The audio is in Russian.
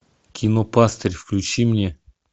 кино пастырь включи мне